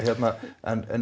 en